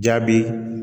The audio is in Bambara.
Jaabi